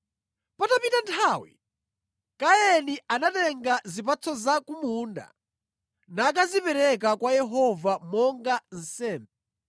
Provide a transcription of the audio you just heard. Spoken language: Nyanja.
Patapita nthawi, Kaini anatenga zipatso za ku munda nakazipereka kwa Yehova monga nsembe.